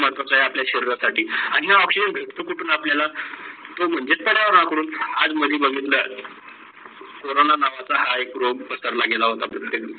महत्वाचा आहे आपल्या शरीरा साठी आणी हे oxygen भेटतो कुठ आपल्याला? तो म्हणजे पर्यावरणा कडून. आज मध्ये बघितल, चोरोना नावाचा हा एक रोम पसरला गेला होता प्रत्येक